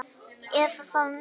Eða þá nei